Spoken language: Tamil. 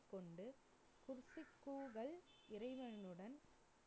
கொண்டு இறைவனுடன்